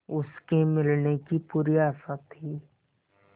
उसके मिलने की पूरी आशा थी